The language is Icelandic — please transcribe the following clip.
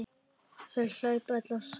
Þau hlaupa öll af stað.